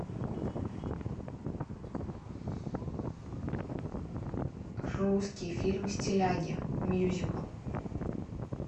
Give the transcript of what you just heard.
русский фильм стиляги мюзикл